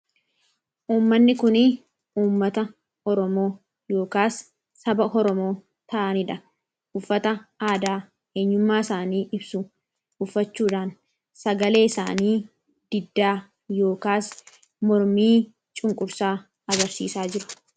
Wanti kun uummata oromoo yookaan saba oromoo ta'anidha. Uffata aadaa eenyummaa isaanii ibsu uffachuudhaan sagalee isaanii diddaa yookaan mormii cunqursaa agarsiisaa jiru.